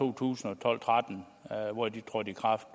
to tusind og tretten hvor de trådte i kraft